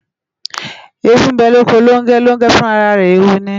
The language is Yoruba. Eewu bę loko Longę, Longę fun ara rę eewu ni